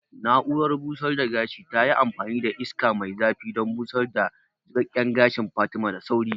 Na'urar busar da gashin tayi amfani da iska mai zafi don busar da jiƙaƙƙen gashin Fatima da sauri